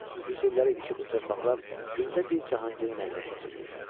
Yüz illər idi ki, bu torpaqlar gündə bir Cahangirin əlinə keçirdi.